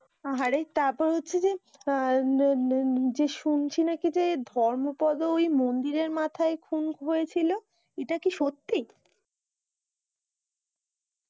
আহারে তারপর হচ্ছে যে আহ যে শুনছি নাকি যে এই ধর্মপদ ওই মন্দিরের মাথায় খুন হয়েছিল এটা কি সত্যি